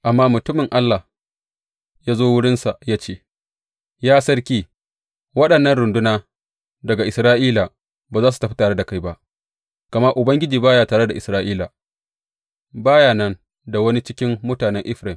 Amma mutumin Allah ya zo wurinsa ya ce, Ya sarki, waɗannan runduna daga Isra’ila ba za su tafi tare da kai ba, gama Ubangiji ba ya tare da Isra’ila, ba ya nan da wani cikin mutanen Efraim.